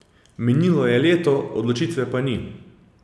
Minilo je leto, odločitve pa ni.